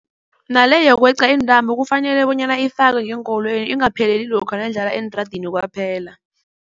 Nale yokweqa iintambo kufanele bonyana ifakwe ngeenkolweni ingapheleli lokha nayidlalwa eentradeni kwaphela.